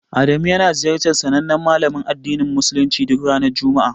Adamu yana ziyarar sanannen malamin addinin musuluncin duk ranar juma'a.